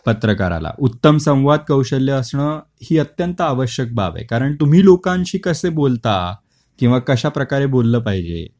पत्रकाराला उत्तम संवाद कौशल्य असण ही अत्यंत आवश्यक बाब आहे. कारण तुम्ही लोकांशी कसे बोलता किंवा कश्याप्रकारे बोलल पाहिजे.